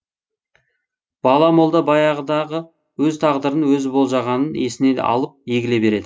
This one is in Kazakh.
бала молда баяғыдағы өз тағдырын өзі болжағанын есіне алып егіле береді